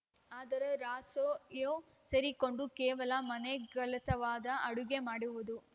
ಆದರೆ ರಾಸೊ ಯೋ ಸೇರಿಕೊಂಡು ಕೇವಲ ಮನೆ ಗಲಸವಾದ ಅಡುಗೆ ಮಾಡುವುದು